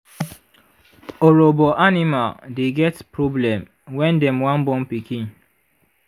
orobo animal dey get problem when dem wan born pikin